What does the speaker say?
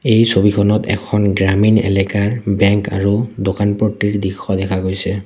এই ছবিখনত এখন গ্ৰামীণ এলেকাৰ বেংক আৰু দোকান পট্টিৰ দৃশ্য দেখা গৈছে।